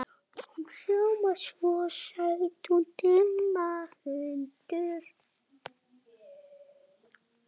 Hún hljómar svo